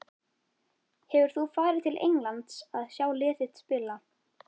Hefur þú farið til Englands að sjá lið þitt spila?